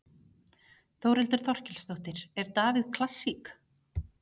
Þórhildur Þorkelsdóttir: Er Davíð klassík?